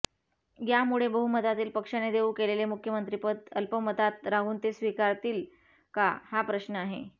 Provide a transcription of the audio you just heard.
यामुळे बहुमतातील पक्षाने देऊ केलेले मुख्यमंत्रिपद अल्पमतात राहून ते स्वीकारतील का हा प्रश्न आहे